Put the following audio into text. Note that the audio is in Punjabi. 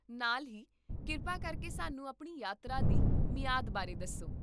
ਨਾਲ ਹੀ, ਕਿਰਪਾ ਕਰਕੇ ਸਾਨੂੰ ਆਪਣੀ ਯਾਤਰਾ ਦੀ ਮਿਆਦ ਬਾਰੇ ਦੱਸੋ